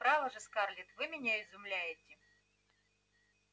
право же скарлетт вы меня изумляете